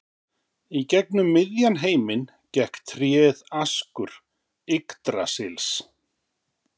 Í gegnum miðjan heiminn gekk tréð Askur Yggdrasils.